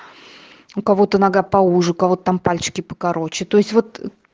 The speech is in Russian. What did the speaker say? у кого-то нога поуже у кого-то там пальчики покороче то есть вот